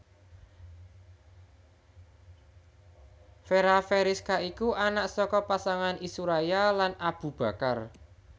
Fera Feriska iku anak saka pasangan Isuraya lan Abu Bakar